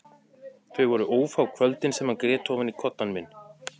Þau voru ófá kvöldin sem ég grét ofan í koddann minn.